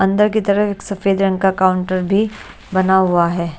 अंदर की तरफ एक सफेद रंग का काउंटर भी बना हुआ है।